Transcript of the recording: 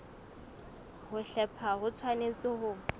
ho hlepha ho tshwanetse ho